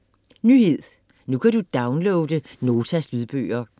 Nyhed: Nu kan du downloade Notas lydbøger